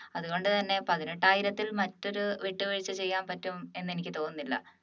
അതുകൊണ്ടുതന്നെ പതിനെട്ടായിരത്തിൽ മറ്റൊരു വിട്ടുവീഴ്ച ചെയ്യാൻ പറ്റുമെന്ന് എനിക്ക് തോന്നുന്നില്ല